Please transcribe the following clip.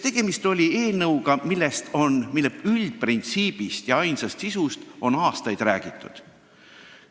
Tegemist on ju eelnõuga, mille üldprintsiibist ja sisust on aastaid räägitud.